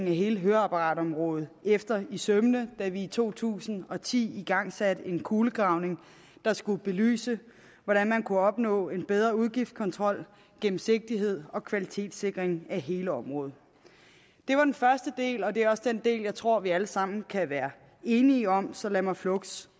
hele høreapparatområdet efter i sømmene da vi to tusind og ti igangsatte en kulegravning der skulle belyse hvordan man kunne opnå bedre udgiftskontrol gennemsigtighed og kvalitetssikring af hele området det var den første del og det er også den del som jeg tror vi alle sammen kan være enige om så lad mig fluks